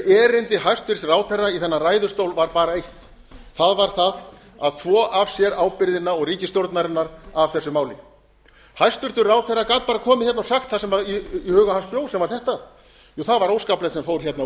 erindi hæstvirtur ráðherra í þennan ræðustól var bara eitt það var það að þvo f sér ábyrgðina og ríkisstjórnarinnar af þessu máli hæstvirts ráðherra gat bara komið hérna og sagt það sem í huga hans bjó sem var þetta það var óskaplegt sem fór hérna